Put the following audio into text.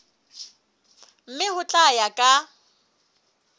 mme ho tla ya ka